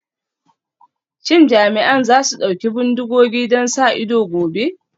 Shin jami'an za su ɗauki bindigogi don sa ido gobe?